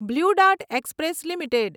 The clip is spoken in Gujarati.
blue Dart Express limited